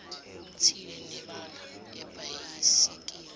thile nebala ibhayisikili